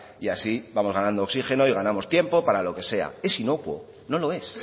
y así vamos ganando oxígeno y ganamos tiempo para lo que sea es inocuo no lo es